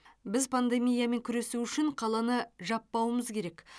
біз пандемиямен күресу үшін қаланы жаппауымыз керек